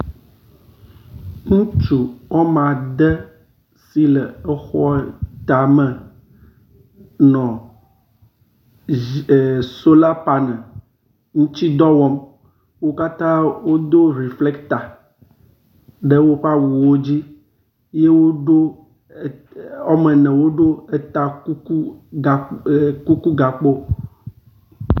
Ŋutsu wome ade si le xɔ tame nɔ dzi er sola paneli ŋuti dɔ wɔm. Wo katã wodo refleta ɖe woƒe awuwo dzi eye wodo wome ene woɖo eta kuku er kuku gakpo.